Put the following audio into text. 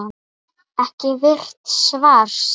Ekki virt svars?